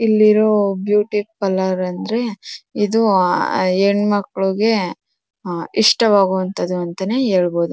ಇಲ್ಲಿರೋ beauty parlour ಅಂದ್ರೆ ಇದು ಆ ಹೆಣ್ಮಕ್ಕಳುಗೆ ಆ ಇಷ್ಟ ವಾದದ್ದು ಅಂತಾನೆ ಹೇಳಬಹುದು.